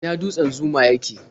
A ina dutsen Zuma yake?